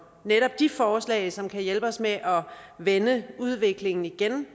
netop de forslag som kan hjælpe os med at vende udviklingen igen